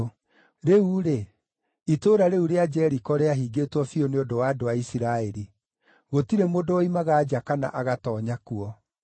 Rĩu-rĩ, itũũra rĩu rĩa Jeriko rĩahingĩtwo biũ nĩ ũndũ wa andũ a Isiraeli. Gũtirĩ mũndũ woimaga nja kana agatoonya kuo.